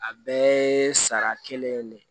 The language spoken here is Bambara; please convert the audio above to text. A bɛɛ ye sara kelen ye de